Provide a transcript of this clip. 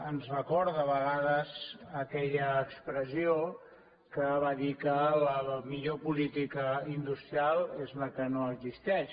ens recorda a vegades aquella expressió que va dir que la millor política industrial és la que no existeix